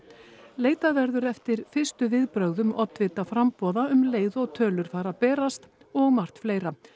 leitað verður eftir fyrstu viðbrögðum oddvita framboða stjórnmálaflokkanna um leið og tölur fara að berast og margt fleira